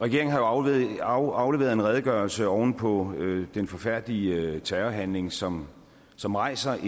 regeringen har jo afleveret afleveret en redegørelse oven på den forfærdelige terrorhandling som som rejser